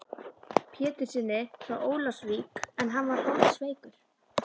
Péturssyni frá Ólafsvík en hann var holdsveikur.